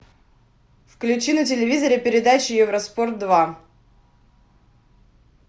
включи на телевизоре передачу евроспорт два